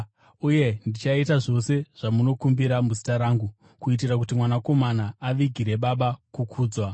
Uye ndichaita zvose zvamunokumbira muzita rangu, kuitira kuti Mwanakomana avigire Baba kukudzwa.